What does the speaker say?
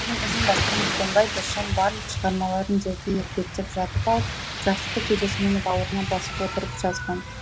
ізін басқан дүкенбай досжан барлық шығармаларын жерге етпеттеп жатып алып жастықты кеудесімен бауырына басып отырып жазған